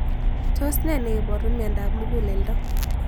Tos ne neiparu miandop mug'uleldo